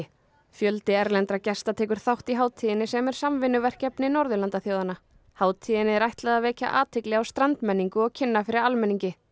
fjöldi erlendra gesta tekur þátt í hátíðinni sem er samvinnuverkefni Norðurlandaþjóðanna hátíðinni er ætlað er að vekja athygli á strandmenningu og kynna fyrir almenningi